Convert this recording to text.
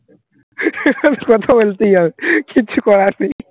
কথা বলতেই হবে, কিচ্ছু করার নেই